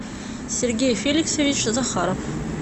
сергей феликсович захаров